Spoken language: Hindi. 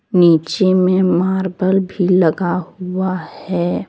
नीचे में मार्बल भी लगा हुआ है।